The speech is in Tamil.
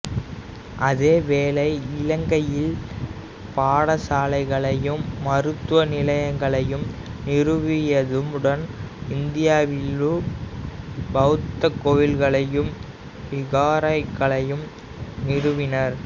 அதே வேளை இலங்கையில் பாடசாலைகளையும் மருத்துவ நிலையங்களையும் நிறுவியதுடன் இந்தியாவிலும் பௌத்த கோயில்களையும் விகாரைகளையும் நிறுவினார்